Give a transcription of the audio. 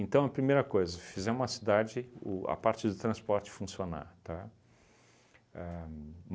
a primeira coisa, fizemos a cidade, o a parte de transporte funcionar, tá? Ahn